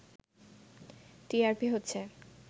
TRP হচ্ছে